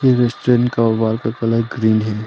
इन restaurant का wall colour green है।